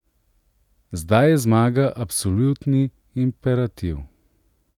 Zdaj je zmaga absolutni imperativ.